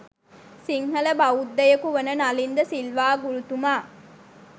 සිංහල බෞද්ධයකු වන නලින් ද සිල්වා ගුරුතුමා